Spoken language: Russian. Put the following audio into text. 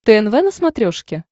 тнв на смотрешке